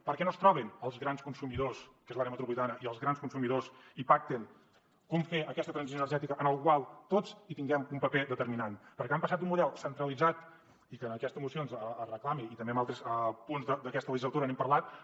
per què no es troben els grans consumidors que són l’àrea metropolitana i els grans productors i pacten com fer aquesta transició energètica en la qual tots tinguem un paper determinant perquè han passat d’un model centralitzat i que en aquestes mocions es reclami i també en altres punts d’aquesta legislatura n’hem parlat